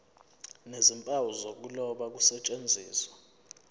nezimpawu zokuloba kusetshenziswe